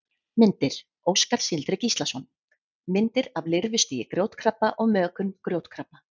Myndir: Óskar Sindri Gíslason: Myndir af lirfustigi grjótkrabba og mökun grjótkrabba.